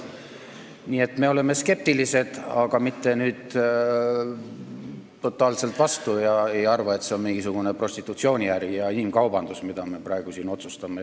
Nii et me oleme skeptilised, aga mitte totaalselt vastu ega arva, et see on mingisugune prostitutsiooniäri ja inimkaubandus, mille üle me praegu siin otsustame.